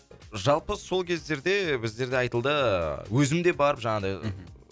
жалпы сол кездерде біздерде айтылды ыыы өзім де барып жаңағыдай мхм